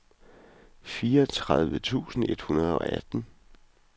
fireogtredive tusind et hundrede og atten